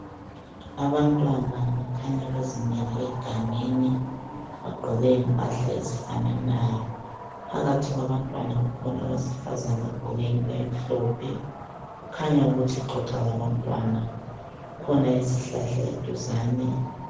Abantwana bakhanya bezimele egangeni bagqoke impahla ezifananayo. Phakathi kwabantwana kukhona owesifazane ogqoke into emhlophe kukhanya ukuthi uxoxa labantwana. Kukhona isihlahla eduzane.